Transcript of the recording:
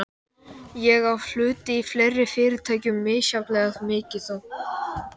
Ég á hluti í fleiri fyrirtækjum, misjafnlega mikið þó.